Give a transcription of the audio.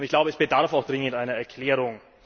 Ich glaube, es bedarf auch dringend einer Erklärung.